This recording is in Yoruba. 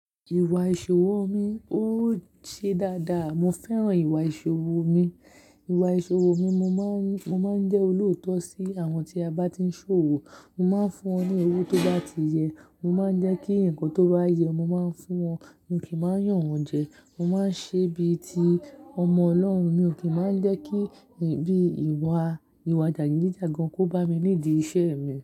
Ìwà ìṣòwò mi ó ṣe dáadáa. Mo fẹ́ràn ìwà ìṣòwò mi. Ìwà ìṣòwò mi, mo máa ń, mo máa ń jẹ́ olóòótọ́ sí àwọn tí a bá ti ń ṣòwò. Mo máa ń fún wọn ní owó tó bá ti yẹ. Mo máa ń jẹ́ kí ǹkan tó bá yẹ, mo máa ń fún wọn. Mi ò kì í máa ń yàn wọ́n jẹ. Mo máa ń ṣe bí i ti ọmọ Ọlọ́run. Mi ò kí máa ń jẹ́ kí bíi ìwà, ìwà jàgídíjàgan kó bá mi nídi iṣẹ́ mi.